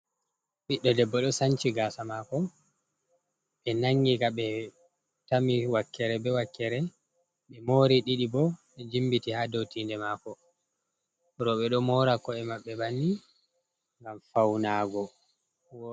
Ɓiɗɗo debbo ɗo Sanci gasa Mako. Ɓe nangika ɓe tami wakkere be wakkere. Ɓe mori ɗiɗi bo ɓe jimbiti ha dou tinde mako. Rouɓe ɗo mora ko’e Mabɓe banni ngam Faunago.